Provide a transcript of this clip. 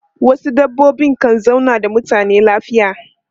Wasu dabbobi kan zauna da mutane lafiya.